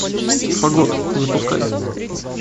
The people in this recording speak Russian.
фагот запускай